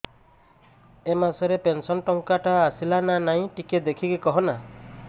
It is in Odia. ଏ ମାସ ରେ ପେନସନ ଟଙ୍କା ଟା ଆସଲା ନା ନାଇଁ ଟିକେ ଦେଖିକି କହନା